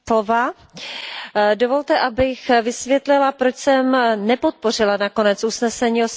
Dovolte, abych vysvětlila, proč jsem nepodpořila nakonec usnesení o silniční dopravě.